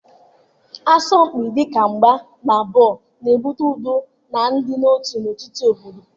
Asọmpi dịka mgba na bọọlụ na-ebute udo na ịdị n'otu n'etiti obodo.